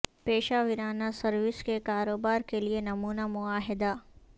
پیشہ ورانہ سروس کے کاروبار کے لئے نمونہ معاہدہ